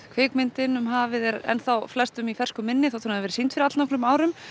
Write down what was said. kvikmyndin hafið er ennþá flestum í fersku minni þótt að hún hafi verið sýnd fyrir allnokkrum árum